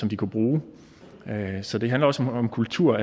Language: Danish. de kunne bruge så det handler også om kultur